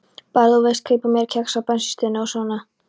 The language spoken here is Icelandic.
Bara, þú veist, kaupa mér kex á bensínstöðinni og svona.